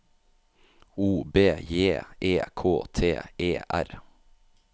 O B J E K T E R